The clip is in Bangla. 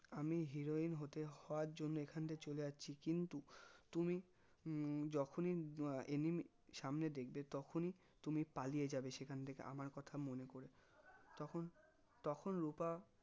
আমি heroine হতে হওয়ার জন্যে এখানটা চলে যাচ্ছি কিন্তু তুমি উহ যখনি আহ enemy সামনে দেখবে তখনি পালিয়ে যাবে সেখান থেকে আমার কথা মনে করে তখন তখন রুপা